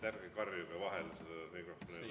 Ärge karjuge vahele sellele mikrofonile.